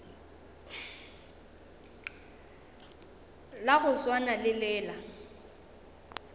la go swana le la